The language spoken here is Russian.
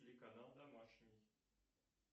телеканал домашний